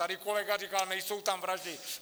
Tady kolega říkal, nejsou tam vraždy.